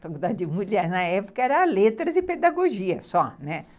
Faculdade de mulher na época era letras e pedagogia só, né?